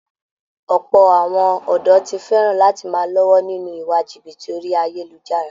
Ọ̀pọ̀ àwọn ọ̀dọ̀ ti fẹ̀ràn lati máa lọ́wọ́ nínú iwa jìbìtì orí ayélujára